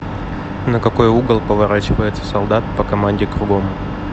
на какой угол поворачивается солдат по команде кругом